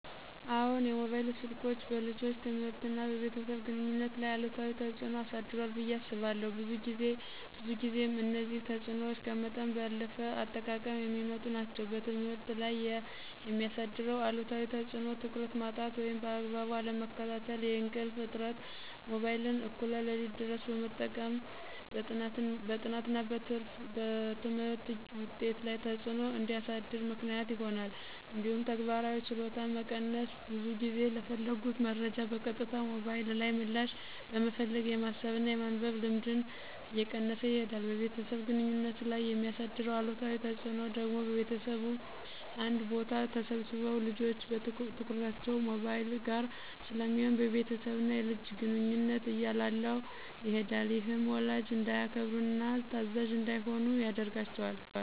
አዎን፣ የሞባይል ስልኮች በልጆች ትምህርትና በቤተሰብ ግንኙነት ላይ አሉታዊ ተጽዕኖ አሳድሯል ብየ አስባለሁ። ብዙ ጊዜም እነዚህ ተጽዕኖዎች ከመጠን ባለፈ አጠቃቀም የሚመጡ ናቸው። በትምህርት ላይ የሚያሳድረው አሉታዊ ተፅዕኖ ትኩረት ማጣት ወይም በአግባቡ አለመከታተል፣ የእንቅልፍ እጥረት(ሞባይልን እኩለ ሌሊት ድረስ በመጠቀም) በጥናትና በትምህርት ውጤት ላይ ተፅዕኖ እንዲያሳድር ምክንያት ይሆናል። እንዲሁም ተግባራዊ ችሎታን መቀነስ(ብዙ ጊዜ ለፈለጉት መረጃ በቀጥታ ሞባይል ላይ ምላሽ በመፈለግ የማሰብና የማንበብ ልምድን እየቀነሰ ይሄዳል። በቤተሰብ ግንኙነት ላይ የሚያሳድረው አሉታዊ ተፅዕኖ ደግሞ ቤተሰቡ አንድ ቦታ ተሰብስበው ልጆች ትኩረታቸው ሞባይል ጋር ስለሚሆን የቤተሰብና የልጅን ግንኙነት እያላላው ይሄዳል። ይህም ወላጅን እንዳያከብሩና ታዛዥ እንዳይሆኑ ያደርጋቸዋል።